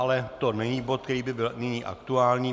Ale to není bod, který by byl nyní aktuální.